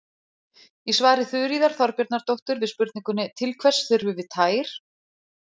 Í svari Þuríðar Þorbjarnardóttur við spurningunni Til hvers þurfum við tær?